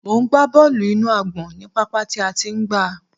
Mò ń gba bọ́ọ́lù inú àgbọ̀n ní pápá tí a ti ń gba.